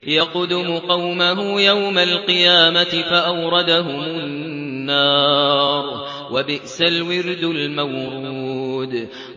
يَقْدُمُ قَوْمَهُ يَوْمَ الْقِيَامَةِ فَأَوْرَدَهُمُ النَّارَ ۖ وَبِئْسَ الْوِرْدُ الْمَوْرُودُ